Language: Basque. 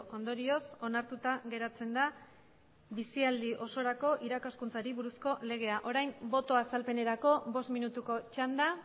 ondorioz onartuta geratzen da bizialdi osorako irakaskuntzari buruzko legea orain botoa azalpenerako bost minutuko txanda